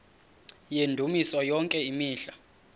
yendumiso yonke imihla